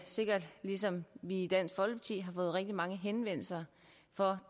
sikkert lige som vi i dansk folkeparti har fået rigtig mange henvendelser fra